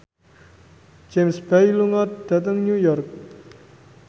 James Bay lunga dhateng New York